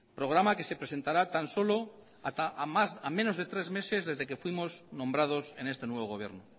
programa que se presentará tan solo a menos de tres meses desde que fuimos nombrados en este nuevo gobierno